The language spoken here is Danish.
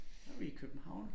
Så vi i København